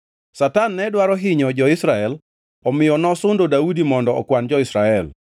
Satan ne dwaro hinyo jo-Israel omiyo nosundo Daudi mondo okwan jo-Israel.